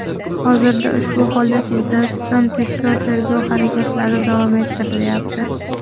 Hozirda ushbu holat yuzasidan tezkor-tergov harakatlari davom ettirilyapti.